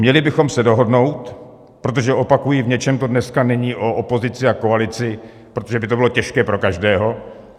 Měli bychom se dohodnout, protože, opakuji, v něčem to dneska není o opozici a koalici, protože by to bylo těžké pro každého.